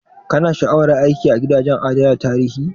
Ka na sha'awar aiki a gidajen adana tarihi?